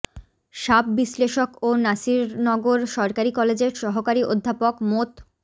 সাপ বিশ্লেষক ও নাসিরনগর সরকারি কলেজের সহকারী অধ্যাপক মোৎ